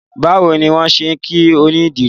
Báwo ni wọ́n ṣe ń kí onídìrí?